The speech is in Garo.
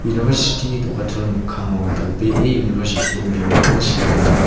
university-ni do·gachol mikkango dal·bee university-ni bimingko sea gnang.